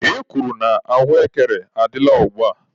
E kwuru na ahụekere adịla ugba.